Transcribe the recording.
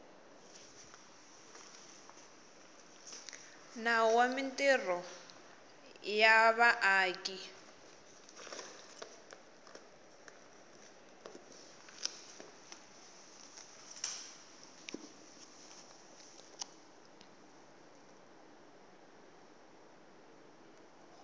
nawu wa mintirho ya vaaki